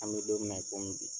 An bɛ don min na i komi bi